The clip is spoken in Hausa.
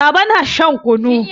Baba na shan kunu.